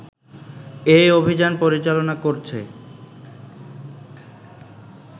এই অভিযান পরিচালনা করছে